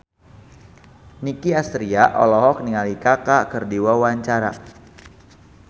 Nicky Astria olohok ningali Kaka keur diwawancara